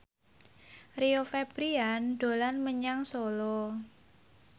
Rio Febrian dolan menyang Solo